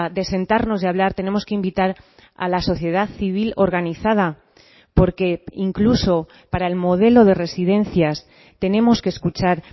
de sentarnos y hablar tenemos que invitar a la sociedad civil organizada porque incluso para el modelo de residencias tenemos que escuchar